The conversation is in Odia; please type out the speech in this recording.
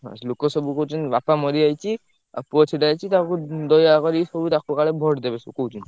ହଁ ଲୋକ ସବୁ କହୁଛନ୍ତି ବାପା ମରିଯାଇଛି ଆଉ ପୁଅ ଛିଡା ହେଇଚି, ତାକୁ ଦୟାକରି ସବୁ ତାକୁ କାଳେ vote ଦେବେ ସବୁ କହୁଛନ୍ତି।